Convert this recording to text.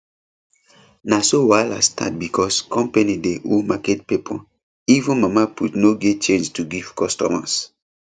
na so wahala start because company dey owe market people even mama put no get change to give customers